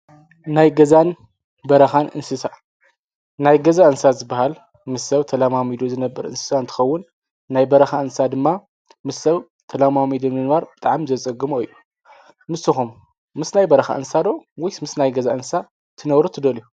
ናይ ገዛን በረኻን እንስሳ፦ ናይ ገዛ እንስሳ ዝበሃል ምስ ሰብ ተለማሚዱ ዝነብ እንስሳ እንትኸውን ናይ በረካ እንስሳ ድማ ምስ ሰብ ተለማሚዱ ንምንባር ብጣዕሚ ዘፀግሞ እዩ ። ንስኹም ምስ ናይ በረኻ እንስሳ ዶ ወይስ ምስ ናይ ገዛ እንስሳ ትነብሩ ትደሊዩ ?